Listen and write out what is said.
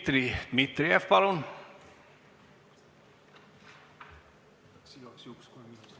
Dmitri Dmitrijev, palun!